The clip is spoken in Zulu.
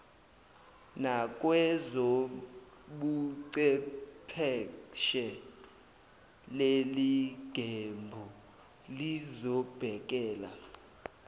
nakwezobuchepheshe leliqembu lizobhekela